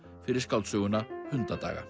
fyrir skáldsöguna